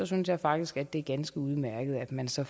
synes jeg faktisk at det er ganske udmærket at man så